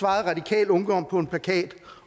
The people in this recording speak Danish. radikal ungdom på en plakat